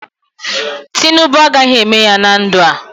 Tinubu agaghị eme ya na ndụ a.